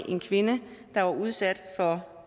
en kvinde der var udsat for